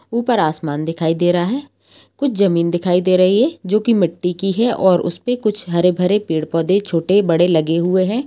ऊपर आसमान दिखाई दे रहा है कुछ जमीन दिखाई दे रही है जोकि मिट्टी की है और उसपे कुछ हरे भरे पेड़ पौधे छोटे बड़े लगे हुए हैं।